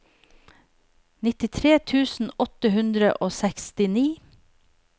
nittitre tusen åtte hundre og sekstini